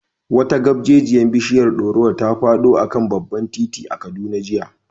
Wata gabjejiyar bishiyar dorowa ta fado a kan babban titi a Kaduna jiya.